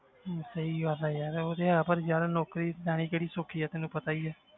ਹਮ ਸਹੀ ਗੱਲ ਹੈ ਯਾਰ ਉਹ ਤੇ ਹੈ ਪਰ ਯਾਰ ਨੌਕਰੀ ਲੈਣੀ ਕਿਹੜੀ ਸੌਖੀ ਹੈ ਤੈਨੂੰ ਪਤਾ ਹੀ ਹੈ